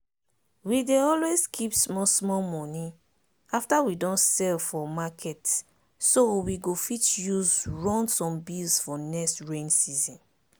we dey always keep small small money after we don sell for marketso we go fit use run some bills for next rain season.